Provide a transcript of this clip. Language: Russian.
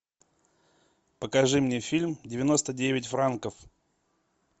покажи мне фильм девяносто девять франков